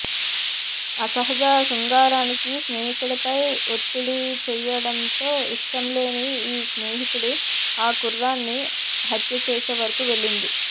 అసహజ శృంగారానికి స్నేహితుడిపై ఒత్తిడి చేయడంతో ఇష్టం లేని ఆ స్నేహితుడు ఆ కుర్రాణ్ని హత్య చేసేవరకు వెళ్లింది